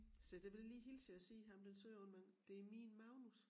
Så det ville jeg lige hilse jer og sige ham den søde unge mand det min Magnus